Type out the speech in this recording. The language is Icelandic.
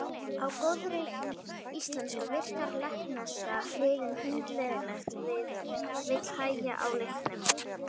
Á góðri íslensku virkar lettneska liði hundleiðinlegt og vill hægja á leiknum.